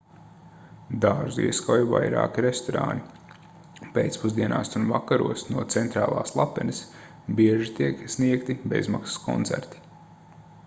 dārzu ieskauj vairāki restorāni pēcpusdienās un vakaros no centrālās lapenes bieži tiek sniegti bezmaksas koncerti